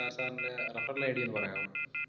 Sir, sir ൻറെ referralID ഒന്ന് പറയാവോ?